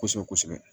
Kosɛbɛ kosɛbɛ